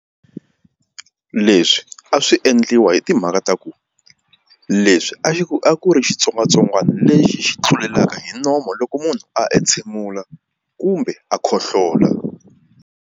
Leswi a swi endliwa hi timhaka ta ku leswi a a ku ri xitsongwatsongwana lexi xi tlulelaka hi nomo loko munhu a entshemula kumbe a khohlola.